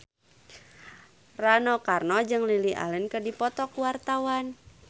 Rano Karno jeung Lily Allen keur dipoto ku wartawan